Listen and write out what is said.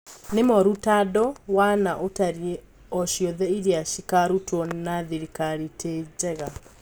Ni moru tandũ wa na ũtarii ociothe iria cikarũtwo na thirikari tii njiga."